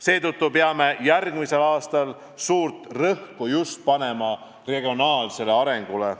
Seetõttu peame järgmisel aastal suurt rõhku just panema regionaalsele arengule.